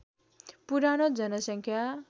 पुरानो जनसङ्ख्या